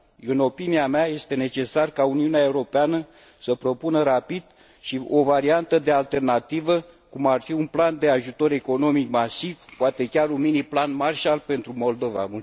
În opinia mea, este necesar ca Uniunea Europeană să propună rapid și o variantă de alternativă, cum ar fi un plan de ajutor economic masiv, poate chiar un mini plan Marshall pentru Moldova.